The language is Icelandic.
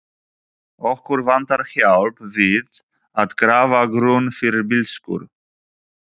Okkur vantar hjálp við að grafa grunn fyrir bílskúr.